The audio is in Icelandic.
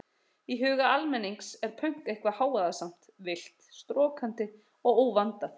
Í huga almennings er pönk eitthvað hávaðasamt, villt, storkandi og óvandað.